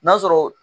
N'a sɔrɔ